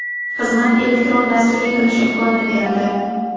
Xizmat elektron dasturga kirish imkonini beradi.